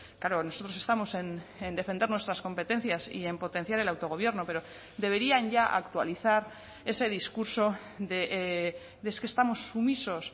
claro nosotros estamos en defender nuestras competencias y en potenciar el autogobierno pero deberían ya actualizar ese discurso de es que estamos sumisos